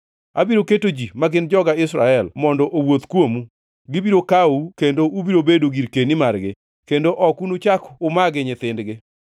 Abiro keto ji, ma gin joga Israel, mondo owuoth kuomu. Gibiro kawou, kendo ubiro bedo girkeni margi, kendo ok unuchak umagi nyithindgi.